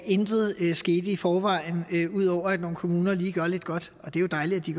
intet er sket i forvejen ud over at nogle kommuner lige gør lidt godt og det er jo dejligt at de